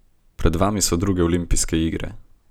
Pred vami so druge olimpijske igre.